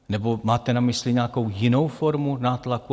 Nebo máte na mysli nějakou jinou formu nátlaku?